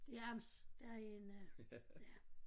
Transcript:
Det er amt derinde ja